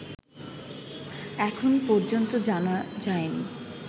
এখনও পর্যন্ত জানা যায়নি